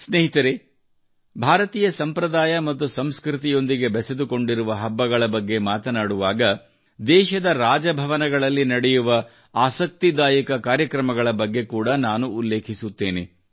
ಸ್ನೇಹಿತರೇ ಭಾರತೀಯ ಸಂಪ್ರದಾಯ ಮತ್ತು ಸಂಸ್ಕೃತಿಯೊಂದಿಗೆ ಬೆಸೆದುಕೊಂಡಿರುವ ಹಬ್ಬಗಳ ಬಗ್ಗೆ ಮಾತನಾಡುವಾಗ ದೇಶದ ರಾಜಭವನಗಳಲ್ಲಿ ನಡೆಯುವ ಆಸಕ್ತಿದಾಯಕ ಕಾರ್ಯಕ್ರಮಗಳ ಬಗ್ಗೆ ಕೂಡಾ ನಾನು ಉಲ್ಲೇಖಿಸುತ್ತೇನೆ